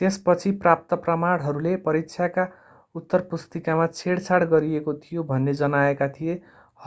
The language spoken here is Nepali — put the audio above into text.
त्यसपछि प्राप्त प्रमाणहरूले परीक्षाका उत्तरपुस्तिकामा छेडछाड गरिएको थियो भन्ने जनाएका थिए